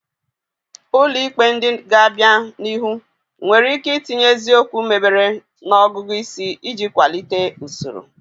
Ụlọ ikpe ndị ga-abịa n'ihu nwere ike itinye eziokwu mebere na ọgụgụ isi iji kwalite usoro.